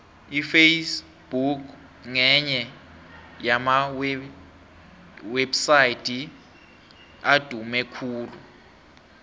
iface book ngenye yamawepsaydi adume khulu